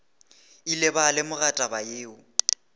ile ba lemoga taba yeo